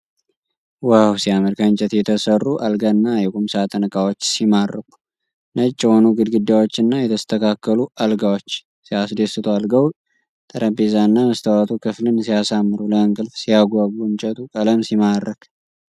ዋው ሲያምር! ከእንጨት የተሠሩ የአልጋና የቁምሳጥን እቃዎች ሲማርኩ! ነጭ የሆኑ ግድግዳዎችና የተስተካከሉ አልጋዎች ሲያስደስቱ! የአልጋው ጠረጴዛና መስተዋቱ ክፍልን ሲያሳምሩ! ለእንቅልፍ ሲያጓጉ! የእንጨቱ ቀለም ሲማርክ!